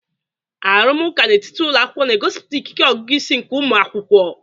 Arụmụka n'etiti ụlọ akwụkwọ na-egosipụta ikike ọgụgụ isi nke ụmụ akwụkwọ.